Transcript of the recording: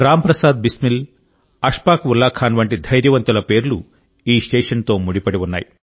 రామ్ ప్రసాద్ బిస్మిల్ అష్ఫాక్ ఉల్లా ఖాన్ వంటి ధైర్యవంతుల పేర్లు ఈ స్టేషన్తో ముడిపడి ఉన్నాయి